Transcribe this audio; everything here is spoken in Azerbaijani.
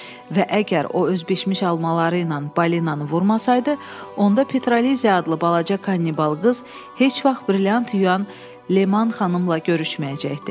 Və əgər o öz bişmiş almaları ilə balinanı vurmasaydı, onda Petraliziya adlı balaca kannibal qız heç vaxt brilyant yuyan Leman xanımla görüşməyəcəkdi.